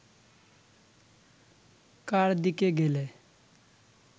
কার দিকে গেলে